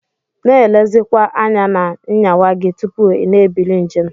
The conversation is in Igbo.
Na elezikwa anya na nyawa gi tupu ina ebili njem.